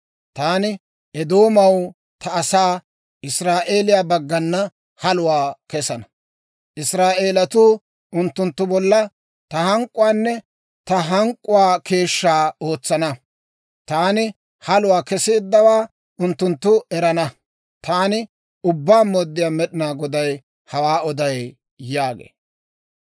Taani Eedoomaw ta asaa Israa'eeliyaa baggana haluwaa kesana. Israa'eelatuu unttunttu bolla ta hank'k'uwaanne ta hank'k'uwaa keeshshaa ootsana. Taani haluwaa keseeddawaa unttunttu erana. Taani Ubbaa Mooddiyaa Med'inaa Goday hawaa oday» yaagee.